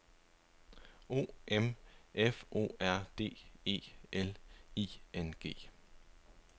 O M F O R D E L I N G